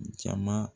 Jama